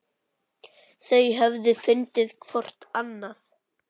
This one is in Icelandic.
Þau höfðu fundið hvort annað.